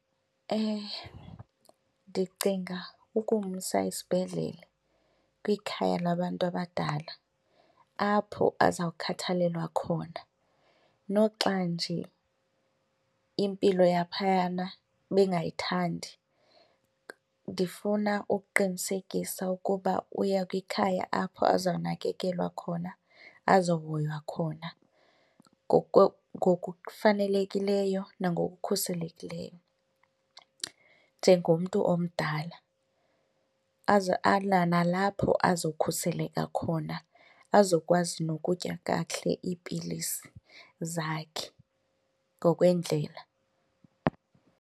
Ndicinga ukumsa esibhedlele kwikhaya labantu abadala apho azawukhathalelwa khona noxa nje impilo yaphayana ndingayithandi. Ndifuna ukuqinisekisa ukuba uya kwikhaya apho azawunakekelwa khona, azohoywa khona ngokufanelekileyo nangokukhuselekileyo njengomntu omdala nalapho azokhuseleka khona azokwazi nokutya kakuhle iipilisi zakhe ngokwendlela.